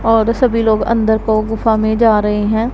और सभी लोग अंदर को गुफा में जा रहे हैं।